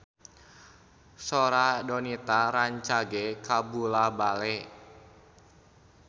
Sora Donita rancage kabula-bale